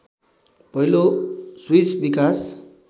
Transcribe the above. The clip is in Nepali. पहिलो स्विस विकास